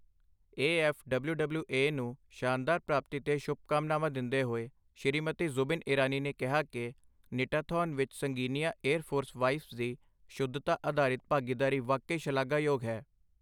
A F W W A ਨੂੰ ਸ਼ਾਨਦਾਰ ਪ੍ਰਾਪਤੀ ਤੇ ਸ਼ੁਭਕਾਮਨਾਵਾਂ ਦਿੰਦੇ ਹੋਏ, ਸ਼੍ਰੀਮਤੀ ਜ਼ੁਬਿਨ ਇਰਾਨੀ ਨੇ ਕਿਹਾ ਕਿ, ਨਿਟਾਥੌਨ ਵਿੱਚ ਸੰਗਿਨੀਆਂ ਏਅਰ ਫੋਰਸ ਵਾਈਵਜ਼ ਦੀ ਸ਼ੁੱਧਤਾ ਆਧਾਰਿਤ ਭਾਗੀਦਾਰੀ ਵਾਕਈ ਸ਼ਲਾਘਾਯੋਗ ਹੈ।